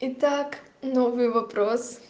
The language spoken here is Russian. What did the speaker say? итак новый вопрос